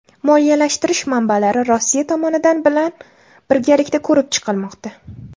Moliyalashtirish manbalari Rossiya tomonidan bilan birgalikda ko‘rib chiqilmoqda.